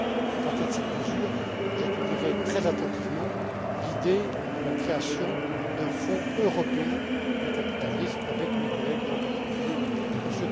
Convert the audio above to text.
À partir de cette mesure, j'étudierai très attentivement l'idée de la création d'un Fonds européen de capital risque avec mes collègues et, en particulier, avec